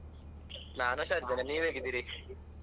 ನಾನ್ ಹುಷಾರಿದ್ದೇನೆ ನೀವ್ ಹೇಗಿದ್ದೀರಿ?